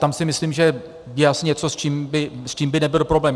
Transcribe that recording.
Tam si myslím, že je asi něco, s čím by nebyl problém.